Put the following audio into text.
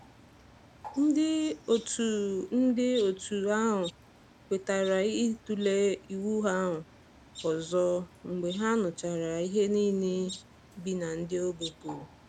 Nde otu Nde otu ahụ kwetara ịtule iwu ahụ ọzọ mgbe ha nụchara ihe niile ndị bi na ogbe kwuru